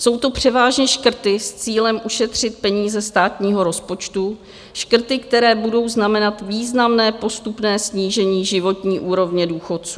Jsou to převážně škrty s cílem ušetřit peníze státního rozpočtu, škrty, které budou znamenat významné postupné snížení životní úrovně důchodců.